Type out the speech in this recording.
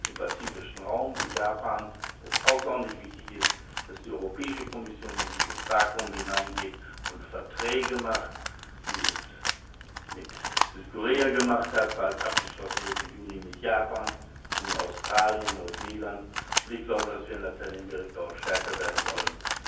im pazifischen Raum wie Japan es außerordentlich wichtig ist, dass die Europäische Kommission in dieses Vakuum hineingeht und Verträge macht, wie sie es mit Südkorea gemacht hat wo dies bald abgeschlossen wird, im Juni mit Japan, nun Australien, Neuseeland, und ich glaube dass wir in Lateinamerika stärker werden sollten.